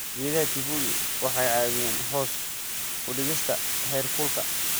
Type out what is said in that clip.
Geedaha kivulili waxay caawiyaan hoos u dhigista heerkulka.